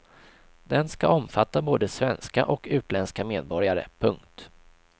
Den ska omfatta både svenska och utländska medborgare. punkt